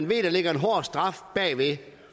ved at der ligger en hård straf bagved